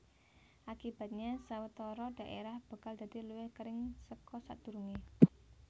Akibatnya sawetara daerah bakal dadi luwih kering saka sadurungé